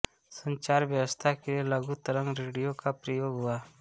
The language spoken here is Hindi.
संचार व्यवस्था के लिए लघुतरंग रेडियो का प्रयोग हुआ